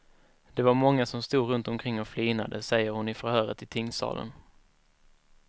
Det var många som stod runt omkring och flinade, säger hon i förhöret i tingssalen.